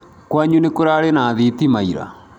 Kwanyu nĩ kũraarĩ na thitima ira?